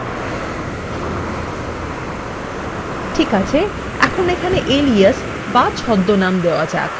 ঠিক আছে এখন এখানে এলিয়াস বা ছদ্মনাম নাম দেওয়া যাক